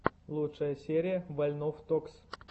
лучшая серия вольнов токс